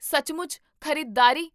ਸੱਚਮੁੱਚ? ਖ਼ਰੀਦਦਾਰੀ?